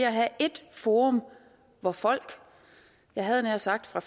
at have ét forum hvor folk jeg havde nær sagt fra